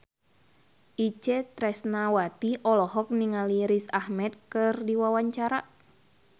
Itje Tresnawati olohok ningali Riz Ahmed keur diwawancara